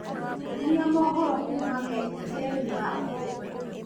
nyonia mohoro kuuma k.t.n ya ũmũthi